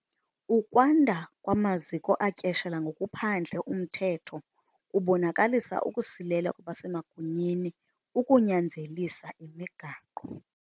Ukwanda kwamaziko atyeshela ngokuphandle umthetho kubonakalisa ukusilela kwabasemagunyeni ukunyanzelisa imigaqo.